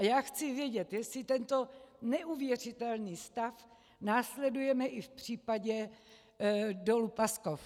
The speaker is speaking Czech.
A já chci vědět, jestli tento neuvěřitelný stav následujeme i v případě dolu Paskov.